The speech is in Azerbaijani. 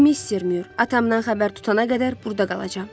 Mister Mür, atamdan xəbər tutana qədər burda qalacam.